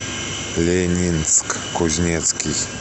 ленинск кузнецкий